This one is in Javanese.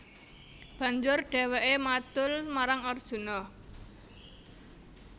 Banjur dhèwèké madul marang Arjuna